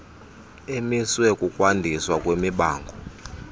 emiswe kukwandiswa kwemibango